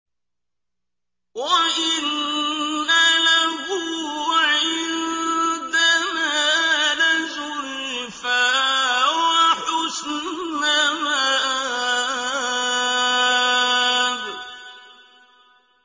وَإِنَّ لَهُ عِندَنَا لَزُلْفَىٰ وَحُسْنَ مَآبٍ